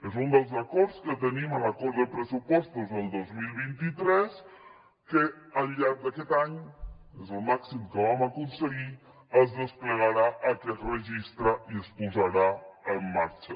és un dels acords que tenim en l’acord de pressupostos del dos mil vint tres que al llarg d’aquest any és el màxim que vam aconseguir es desplegarà aquest registre i es posarà en marxa